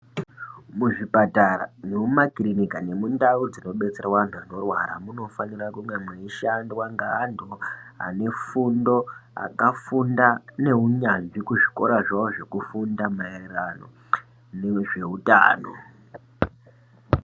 Muzvipatara nomumakirinika, nemundau dzinobetserwa antu anorwara, munofanira kunge meishandwa ngeantu ane fundo akafunda neunyanzvi kuzvikora zvavo, maererano nezveutano.